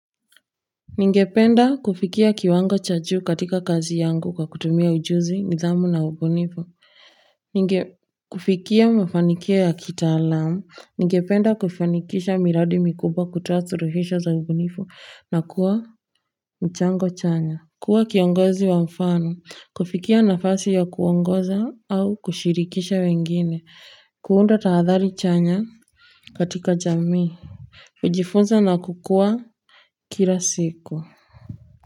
Ningependa kufikia kiwango cha juu katika kazi yangu kwa kutumia ujuzi, nidhamu na ubunifu. Ningependa kufikia mafanikio ya kitaalamu. Ningependa kufanikisha miradi mikuba kutoa suuhishao za ubunifu na kuwa mchango chanya. Kuwa kiongozi wa mfano. Kufikia nafasi ya kuongoza au kushirikisha wengine. Kuunda tahadhari chanya katika jamii. Fujifunza na kukua kila siku.